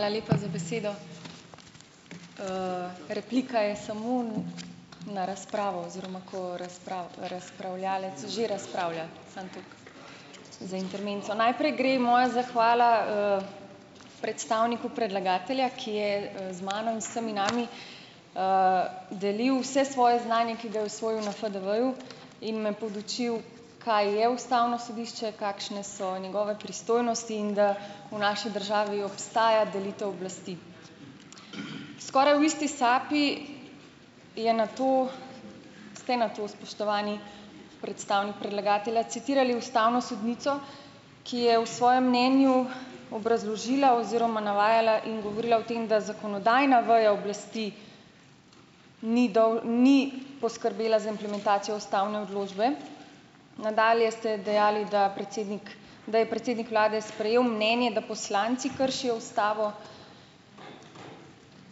Hvala lepa za besedo. Replika je samo na razpravo oziroma, ko razpravljavec že razpravlja. Samo tako za intermezzo. Najprej gre moja zahvala, predstavniku predlagatelja, ki je, z mano in vsemi nami, delil vse svoje znanje, ki ga je osvojil na FDV-ju, in me podučil, kaj je ustavno sodišče, kakšne so njegove pristojnosti in da v naši državi obstaja delitev oblasti. Skoraj v isti sapi je nato, ste nato, spoštovani predstavnik predlagatelja, citirali ustavno sodnico, ki je v svojem mnenju obrazložila oziroma navajala in govorila o tem, da zakonodajna veja oblasti ni ni poskrbela za implementacijo ustavne odločbe. Nadalje ste dejali, da predsednik, da je predsednik vlade sprejel mnenje, da poslanci kršijo ustavo.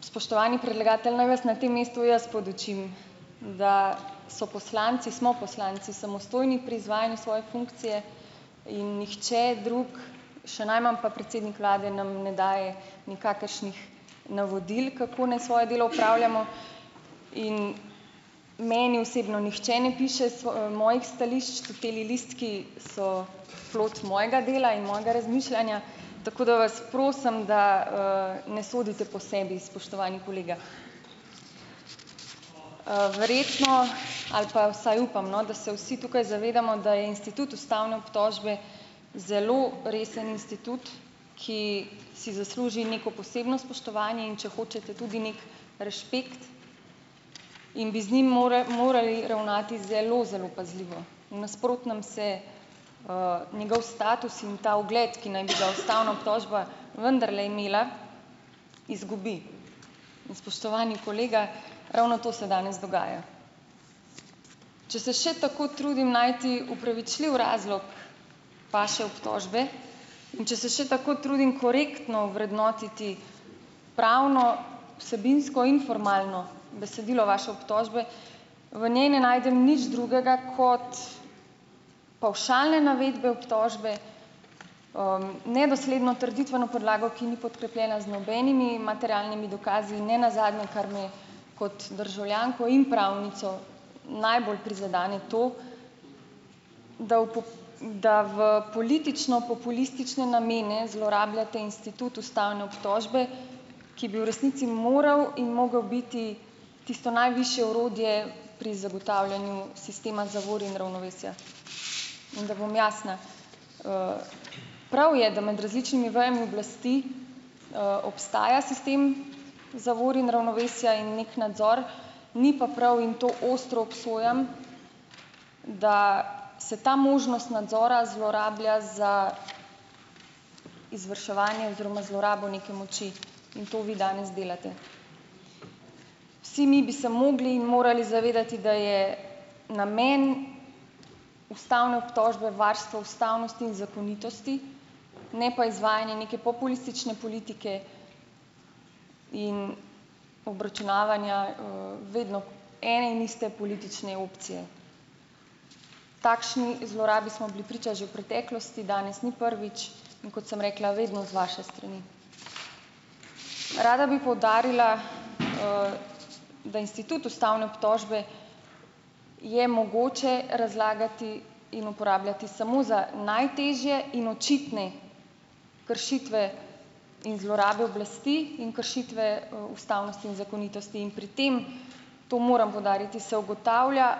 Spoštovani predlagatelj, naj vas na tem mestu jaz podučim, da so poslanci, smo poslanci samostojni pri izvajanju svoje funkcije in nihče drug, še najmanj pa predsednik vlade, nam ne daje nikakršnih navodil, kako naj svoje delo opravljamo. In meni osebno nihče ne piše mojih stališč, tile listki so plod mojega dela in mojega razmišljanja, tako da vas prosim, da, ne sodite po sebi, spoštovani kolega. Verjetno ali pa vsaj upam, no, da se vsi tukaj zavedamo, da je institut ustavne obtožbe zelo resen institut, ki si zasluži neko posebno spoštovanje, in če hočete, tudi neki rešpekt ... In bi z njim morali ravnati zelo zelo pazljivo; v nasprotnem se, njegov status in ta ugled, ki naj bi ga ustavna obtožba vendarle imela, izgubi. In, spoštovani kolega, ravno to se danes dogaja - če se še tako trudim najti upravičljiv razlog vaše obtožbe in če se še tako trudim korektno vrednotiti pravno, vsebinsko in formalno besedilo vaše obtožbe, v njej ne najdem nič drugega kot pavšalne navedbe obtožbe, nedosledno trditveno podlago, ki ni podkrepljena z nobenimi materialnimi dokazi, in ne nazadnje, kar me kot državljanko in pravnico najbolj prizadene, to, da v da v politično-populistične namene zlorabljate institut ustavne obtožbe, ki bi v resnici moral in mogel biti tisto najvišje orodje pri zagotavljanju sistema zavor in ravnovesja. In da bom jasna, prav je, da med različnimi vejami oblasti obstaja sistem zavor in ravnovesja in neki nadzor, ni pa pravil, in to ostro obsojam, da se ta možnost nadzora zlorablja za izvrševanje oziroma zlorabo neke moči in to vi danes delate. Vsi mi bi se mogli in morali zavedati, da je namen ustavne obtožbe varstvo ustavnosti in zakonitosti, ne pa izvajanje neke populistične politike in obračunavanja, vedno ene in iste politične opcije. Takšni zlorabi smo bili priča že v preteklosti, danes ni prvič, in kot sem rekla, vedno z vaše strani. Rada bi poudarila, da institut ustavne obtožbe je mogoče razlagati in uporabljati samo za najtežje in očitne kršitve in zlorabe oblasti in kršitve, ustavnosti in zakonitosti in pri tem, to moram poudariti, se ugotavlja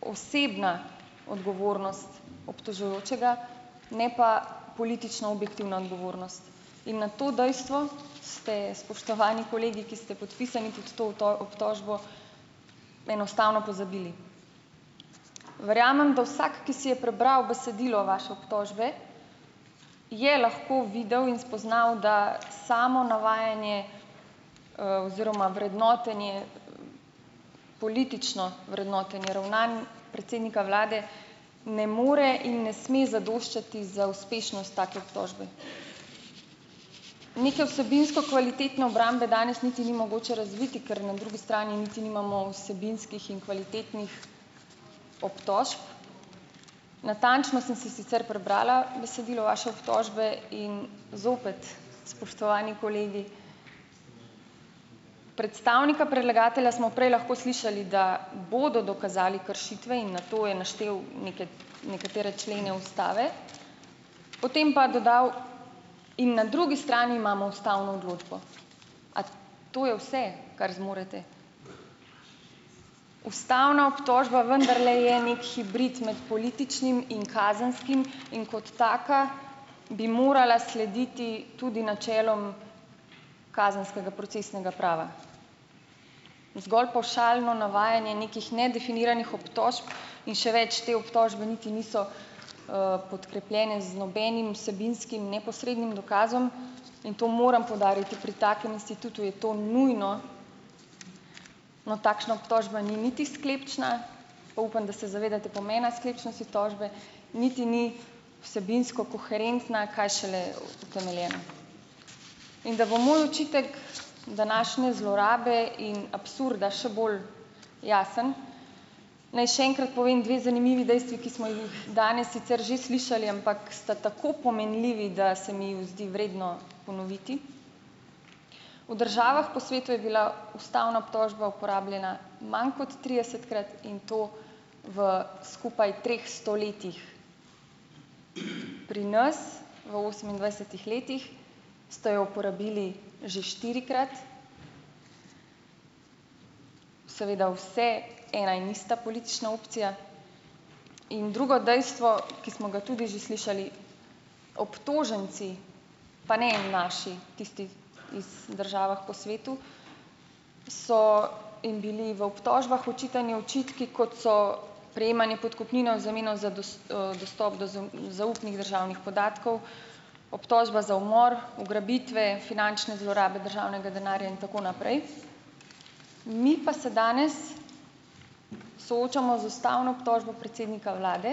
osebna odgovornost obtožujočega, ne pa politično objektivna odgovornost. In na to dejstvo ste, spoštovani kolegi, ki ste podpisani pod to obtožbo, enostavno pozabili. Verjamem, da vsak, ki si je prebral besedilo vaše obtožbe, je lahko videl in spoznal, da samo navajanje, oziroma vrednotenje, politično vrednotenje ravnanj predsednika vlade ne more in ne sme zadoščati za uspešnost take obtožbe. Neke vsebinsko kvalitetne obrambe danes niti ni mogoče razviti, ker na drugi strani niti nimamo vsebinskih in kvalitetnih obtožb. Natančno sem si sicer prebrala besedilo vaše obtožbe in zopet, spoštovani kolegi, predstavnika predlagatelja smo prej lahko slišali, da bodo dokazali kršitve in nato je naštel nekatere člene ustave, potem pa dodal, in na drugi strani imamo ustavno odločbo. A to je vse, kar zmorete? Ustavna obtožba vendarle je neki hibrid med političnim in kazenskim in kot taka bi morala slediti tudi načelom kazenskega procesnega prava. Zgolj pavšalno navajanje nekih nedefiniranih obtožb in še več, te obtožbe niti niso, podkrepljene z nobenim vsebinskim, neposrednim dokazom, in to moram poudariti, pri takem institutu je to nujno. No, takšna obtožba ni niti sklepčna, pa upam, da se zavedate pomena sklepčnosti tožbe, niti ni vsebinsko koherentna, kaj šele utemeljena. In da bo moj očitek današnje zlorabe in absurda še bolj jasen, naj še enkrat povem dve zanimivi dejstvi, ki smo jih danes sicer že slišali, ampak sta tako pomenljivi, da se mi ju zdi vredno ponoviti. V državah po svetu je bila ustavna obtožba uporabljena manj kot tridesetkrat in to v skupaj treh stoletjih. Pri nas, v osemindvajsetih letih, ste jo uporabili že štirikrat, seveda vse ena in ista politična opcija. In drugo dejstvo, ki smo ga tudi že slišali, obtoženci, pa ne naši, tisti iz držav po svetu, so in bili v obtožbah očitani očitki, kot so prejemanje podkupnine v zameno za dostop do zaupnih državnih podatkov, obtožba za umor, ugrabitve, finančne zlorabe državnega denarja in tako naprej. Mi pa se danes soočamo z ustavno obtožbo predsednika vlade,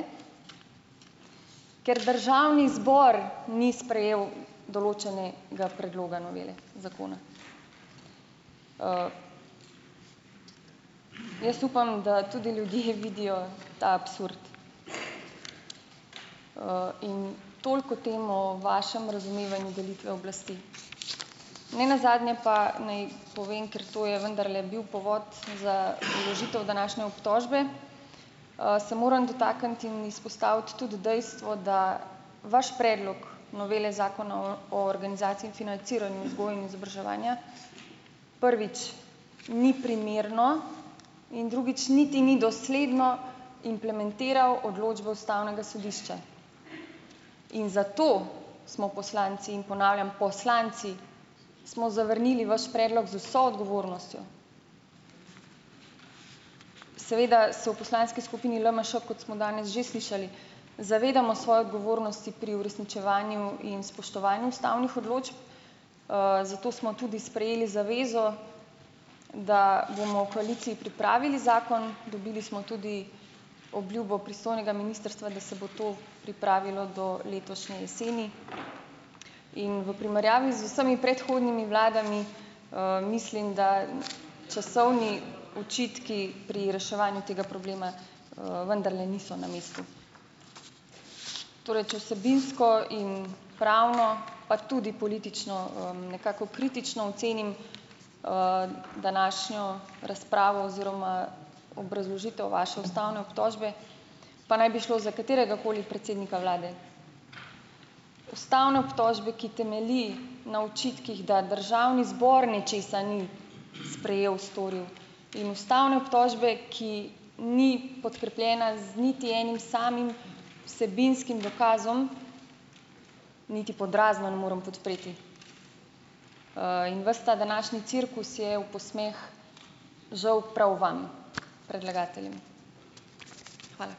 ker državni zbor ni sprejel določenega predloga novele zakona. Jaz upam, da tudi ljudje vidijo ta absurd. in toliko o tem o vašem razumevanju delitve oblasti. Nenazadnje pa naj povem, ker to je vendarle bil povod za vložitev današnje obtožbe, se moram dotakniti in izpostaviti tudi dejstvo, da vaš predlog novele zakona o o organizaciji in financiranju vzgoje in izobraževanja, prvič ni primerno in drugič niti ni dosledno implementiral odločbo ustavnega sodišča. In zato smo poslanci, in ponavljam, poslanci smo zavrnili vaš predlog z vso odgovornostjo. Seveda se v poslanski skupini LMŠ, kot smo danes že slišali, zavedamo svoje odgovornosti pri uresničevanju in spoštovanju ustavnih odločb, zato smo tudi sprejeli zavezo, da bomo v koaliciji pripravili zakon, dobili smo tudi obljubo pristojnega ministrstva, da se bo to pripravilo do letošnje jeseni. In v primerjavi z vsemi predhodnimi vladami, mislim, da časovni očitki pri reševanju tega problema, vendarle niso na mestu. Torej, če vsebinsko in pravno pa tudi politično, nekako kritično ocenim, današnjo razpravo oziroma obrazložitev vaše ustavne obtožbe, pa naj bi šlo za kateregakoli predsednika vlade. Ustavne obtožbe, ki temelji na očitkih, da državni zbor nečesa ni sprejel, storil, in ustavne obtožbe, ki ni podkrepljena z niti enim samim vsebinskim dokazom, niti pod razno ne morem podpreti. In vas ta današnji cirkus je v posmeh žal prav vam predlagateljem. Hvala.